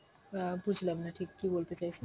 অ্যাঁ বুঝলাম না ঠিক কি বলতে চাইছেন